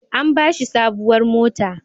An ba shi sabuwar mota.